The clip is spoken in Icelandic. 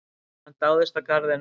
Hann dáðist að garðinum.